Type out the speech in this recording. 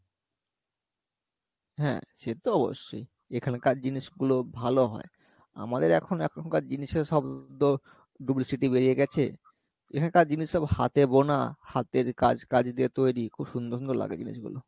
হ্যাঁ সে তো অবশ্যই এখানকার জিনিসগুলো ভালো হয় আমাদের এখন এখনকার জিনিসে সব তো duplicity বেরিয়ে গেছে এখানকার জিনিস সব হাতে বোনা হাতের কাজ কাজ দিয়ে তৈরি খুব সুন্দর সুন্দর লাগে জিনিস গুলো